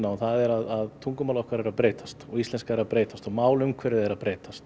það er að tungumálið okkar er að breytast og íslenska er að breytast og málumhverfið er að breytast